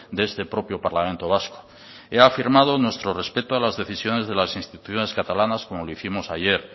de este propio parlamento vasco he afirmado nuestro respeto a las decisiones de las instituciones catalanas como lo hicimos ayer